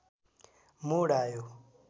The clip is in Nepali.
मोड आयो